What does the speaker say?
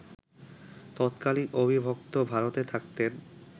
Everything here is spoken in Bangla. তৎকালীন অবিভক্ত ভারতে থাকতেন